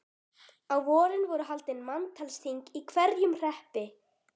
Á vorin voru haldin manntalsþing í hverjum hreppi.